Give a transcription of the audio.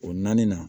O naani na